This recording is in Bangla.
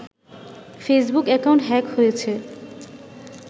ফেসবুক অ্যাকাউন্ট হ্যাক হয়েছে